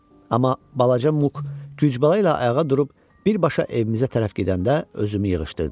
Amma balaca Muk güclə ayağa durub birbaşa evimizə tərəf gedəndə özümü yığışdırdım.